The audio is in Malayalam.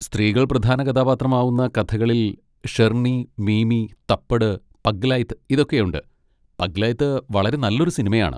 സ്ത്രീകൾ പ്രധാന കഥാപാത്രമാവുന്ന കഥകളിൽ ഷെർണി, മീമി, തപ്പട്, പഗ്ഗ്ലൈത്, ഇതൊക്കെയുണ്ട്, പഗ്ഗ്ലൈത് വളരെ നല്ലൊരു സിനിമയാണ്.